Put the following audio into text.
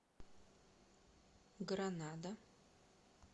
гранада